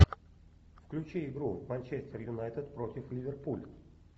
включи игру манчестер юнайтед против ливерпуль